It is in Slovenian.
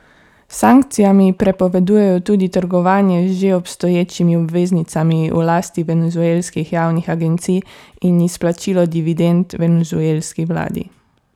S sankcijami prepovedujejo tudi trgovanje z že obstoječimi obveznicami v lasti venezuelskih javnih agencij in izplačilo dividend venezuelski vladi.